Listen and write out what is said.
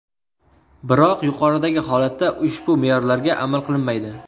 Biroq yuqoridagi holatda, ushbu me’yorlarga amal qilinmaydi.